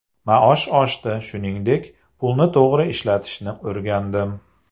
Maosh oshdi, shuningdek, pulni to‘g‘ri ishlatishni o‘rgandim.